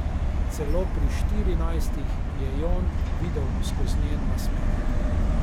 Celo pri štirinajstih je Jon videl skozi njen nasmeh.